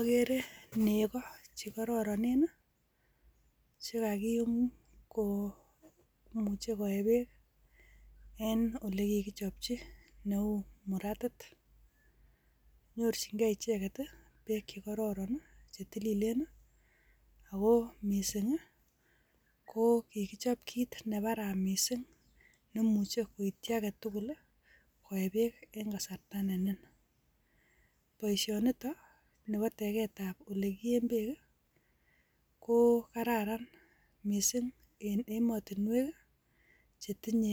Agere nekoo chekororonen, chekakium komuche koyee beek en olekikichopchi oleu muratit. Nyorchingei icheket I,beek che kororon, chetilileen. Ako missing i,ko kikichop kit nebaraa missing, nemuche koityii agetuguk koe beek en kasarta neniin. Boishonitok, niboo tegetab olekiyeen beek I,ko kararan missing en emotinwek chetindo